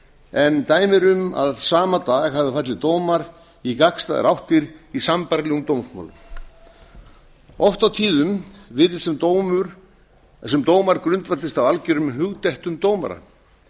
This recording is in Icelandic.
en dæmi eru um að sama dag hafi fallið dómar í gagnstæðar áttir í sambærilegum dómsmálum oft og tíðum virðist sem dómar grundvallist á algjörum hugdettum dómara